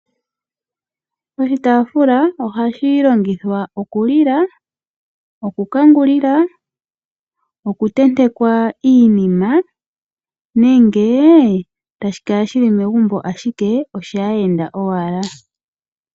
Oshitafula ohashi longithwa oku lila, okukangulila, okutentekwa iinima nenge tashi kala shi li megumbo ashike oshaayenda owala.